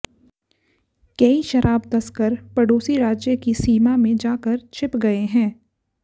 कई शराब तस्कर पड़ोसी राज्य की सीमा में जा कर छिप गए हैं